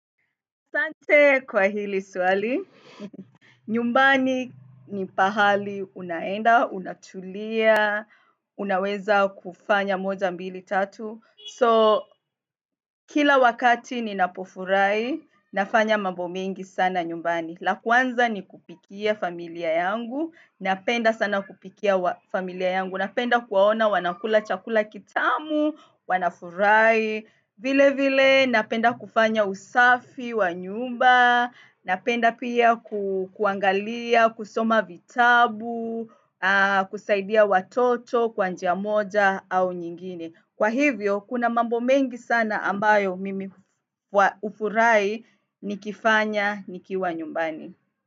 Asante kwa hili swali, nyumbani ni pahali unaenda, unatulia, unaweza kufanya moja mbili tatu. So, kila wakati ninapofurahi, nafanya mambo mingi sana nyumbani. La kwanza ni kupikia familia yangu, napenda sana kupikia familia yangu, napenda kuwaona wanakula chakula kitamu, wanafuraai. Vile vile napenda kufanya usafi wa nyumba, napenda pia kuangalia, kusoma vitabu, kusaidia watoto, kwa njia moja au nyingine. Kwa hivyo, kuna mambo mengi sana ambayo mimi hufurahi nikifanya nikiwa nyumbani.